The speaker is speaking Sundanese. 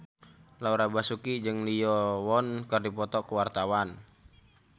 Laura Basuki jeung Lee Yo Won keur dipoto ku wartawan